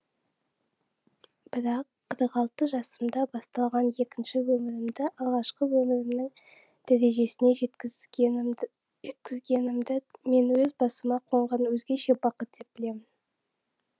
бірақ қырық алты жасымда басталған екінші өмірімді алғашқы өмірімнің дәрежесіне жеткізгенімді жеткізгенімді мен өз басыма қонған өзгеше бақыт деп білемін